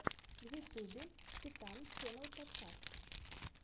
в ютюбе титан ченнал подкаст